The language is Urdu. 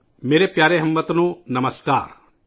میرے پیارے ہم وطنوں ، نمسکار !